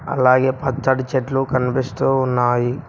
అలాగే పచ్చటి చెట్లు కనిపిస్తూ ఉన్నాయి.